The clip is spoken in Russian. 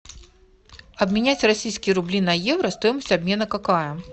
обменять российские рубли на евро стоимость обмена какая